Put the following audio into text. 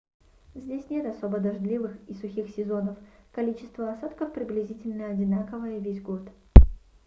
здесь нет особо дождливых и сухих сезонов количество осадков приблизительно одинаково весь год